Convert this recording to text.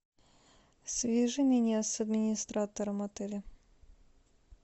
свяжи меня с администратором отеля